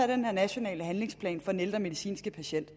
den her nationale handlingsplan for den ældre medicinske patient